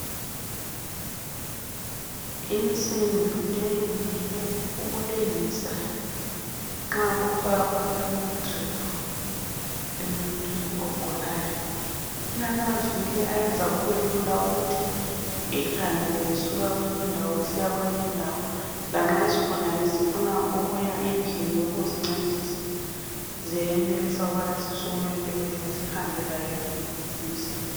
Insimbi leyi ngeyokulengisa nxa kufakwa amadrip emuntwini ogulayo ilamavili ayenza kube Lula ukuthi ihambe usuka kwenye indawo isiya kwenye indawo lanxa isigulane sifuna ukuzincedisa ziyenelisa ukuba embedeni zihambe la insimbi